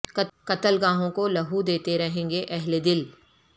قتل گاہوں کو لہو دیتے رہیں گے اہل دل